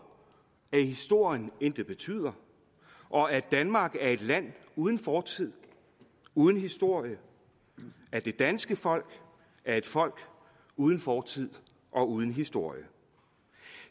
at historien intet betyder og at danmark er et land uden fortid uden historie at det danske folk er et folk uden fortid og uden historie